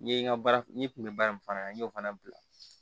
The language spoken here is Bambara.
N ye n ka baara n ye kun bɛ baara in fana na n y'o fana bila